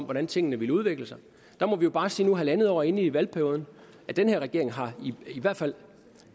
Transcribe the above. hvordan tingene ville udvikle sig der må vi jo bare sige nu halvandet år inde i valgperioden at den her regering i hvert fald